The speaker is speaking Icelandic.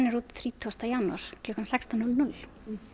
út þrítugasta janúar klukkan sextán núll núll